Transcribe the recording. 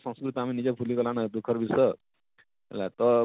ସଂସ୍କୃତ ଆମେ ନିଜେ ଭୁଲି ଗଲାନ ଦୁଃଖର ବିଷୟ ହେଲା ତ,